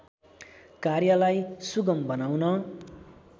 कार्यलाई सुगम बनाउन